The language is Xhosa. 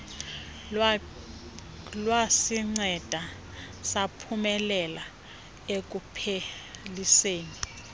lwasinceda saphumelela ekupheliseni